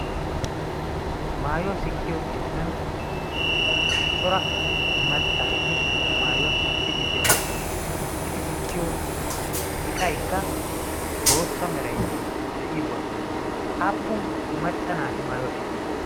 Maayuwaa sikkiyo keettan cora maccaageeti maayuwaa sikkiiddi de'oossona. Eti sikkiyo iqaykka bootta meray de'iyoogaa. Aappun macca naati maayuwaa sikkiyoona?